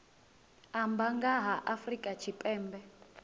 amba nga ha afrika tshipembe